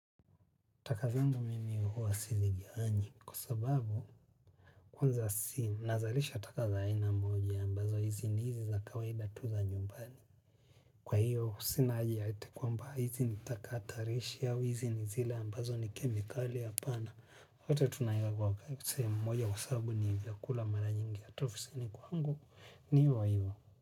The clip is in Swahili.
Taka zangu mimi huwa sizigawanyi kwa sababu kwanza si nazalisha taka za aina moja ambazo hizi ni hizi za kawaida tu za nyumbani. Kwa hiyo sina haja ya eti kwamba hizi ni taka hatarishi au hizi ni zile ambazo ni kemikali hapana. Yote tunaiweka kwa sehemu moja kwa sababu ni vyakula mara nyingi hata ofisini kwangu ni hiyo wa hiyo.